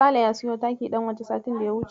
Sale ya siyo taki ɗan waje satin da ya wuce.